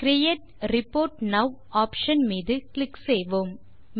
create report now option மீது click செய்வோம்